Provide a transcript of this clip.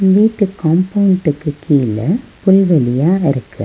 வீட்டு காம்பவுண்டுக்கு கீழ புல்வெளியா இருக்கு.